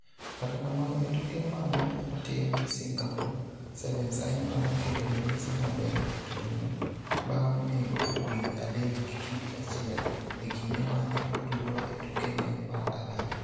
Kata kamano e tuke ma ne otim Singapore Sevens Ayimba noketo ranyisi maber e tugono bang' nego winy adek gi kidi achiel e kinde ma ne otugo e tukene mar ariyo.